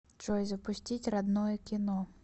джой запустить родное кино